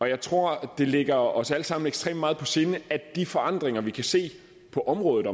jeg tror det ligger os alle sammen ekstremt meget på sinde at de forandringer vi kan se på området